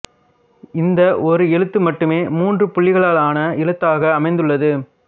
இந்த ஓர் எழுத்து மட்டுமே மூன்று புள்ளிகளாலான எழுத்தாக அமைந்துள்ளது